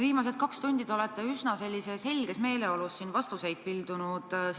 Viimased kaks tundi te olete üsna sellises helges meeleolus siin vastuseid pildunud.